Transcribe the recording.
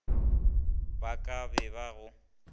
ba ka be ba go